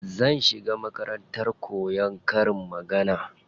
Zan shiga makarantar koyan karin magana.